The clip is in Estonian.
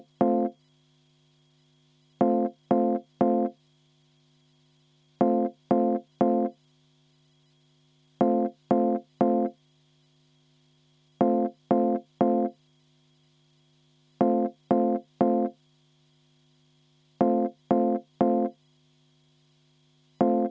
– rahanduskomisjon, juhtivkomisjoni seisukoht: arvestada täielikult.